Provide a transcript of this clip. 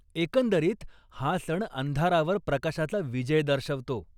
एकंदरीत, हा सण अंधारावर प्रकाशाचा विजय दर्शवतो.